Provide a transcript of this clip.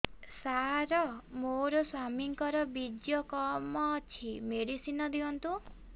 ସାର ମୋର ସ୍ୱାମୀଙ୍କର ବୀର୍ଯ୍ୟ କମ ଅଛି ମେଡିସିନ ଦିଅନ୍ତୁ